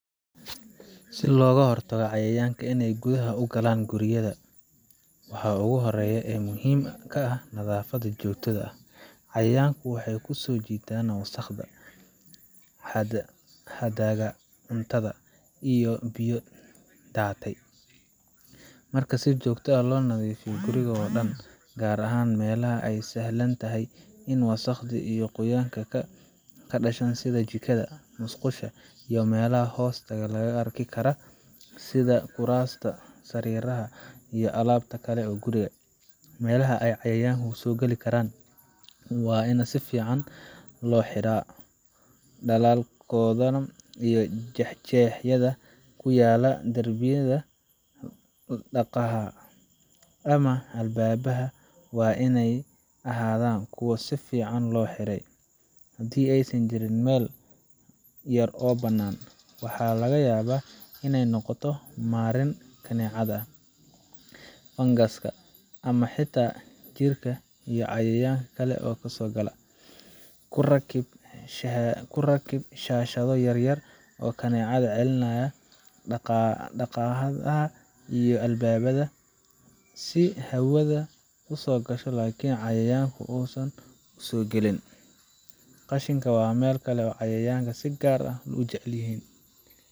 Si looga hortago cayayanka ineey gudaha ugalaan guryada waxaa ugu horeeya ee muhiim ka ah nadaafada joogtada ah cayayanku wxeey kusoo jiitaan wasaqda harharraga cuntada iyo biyo daatay marka si joogta ah loo nadiifiyo guriga oodhan gaar ahaan meelaha eey sahlantahay in wasaqda iyo qoyaanka ka dhashaan sida jikada, musqusha iyo meelaha hoosta laga arki karo sida kuraasta, sariiraha iyo alaabta kale ee guriga meelaha eey cayayankan kasoo gali karaan waa in sifican looxiraa dhalalkoodana iyoo jeexjeexyada kuyala darbiyada ama albaabaha wa ineey ahaadan kuwa sifican loo xiray hadii eeysan jirin meel yar oo banan waxaa laga yaaba ineeynoqoto marin kaneecada ongas ama xitaa jiirka iyo cayayanka kale oo kasoo gala kurakib shaashada yaryar oo kaneecada celinaaya daaqadaha iyo albaabada si hawada usoo gasho lakin cayayanku usoo galin. Qashinka waa meel kale oo cayayanka si gaar ah ujecelyiin.